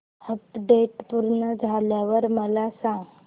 update पूर्ण झाल्यावर मला सांग